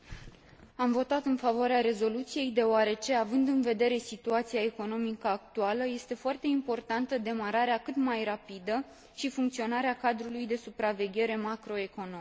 Am votat în favoarea rezoluției deoarece, având în vedere situația economică actuală, este foarte importantă demararea cât mai rapidă și funcționarea cadrului de supraveghere macroeconomică.